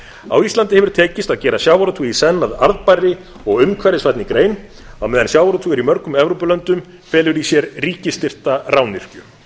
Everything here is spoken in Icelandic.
á íslandi hefur tekist að gera sjávarútveg í senn að arðbærri og umhverfisvænni grein á meðan sjávarútvegur í mörgum evrópulöndum felur í sér ríkisstyrkta rányrkju